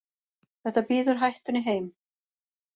Þetta býður hættunni heim.